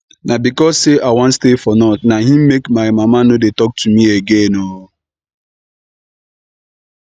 na because say i wan stay for north na im make my mama no dey talk to me again oo